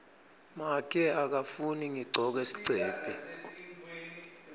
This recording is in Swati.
make akafuni ngigcoke sigcebhe